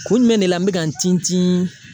Kun jumɛn de la n be ka n tintin